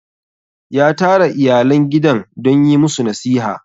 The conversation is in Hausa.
ya tara iyalan gidan don yi musu nasiha